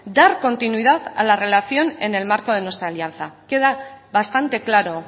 dar continuidad a la relación en el marco de nuestra alianza queda bastante claro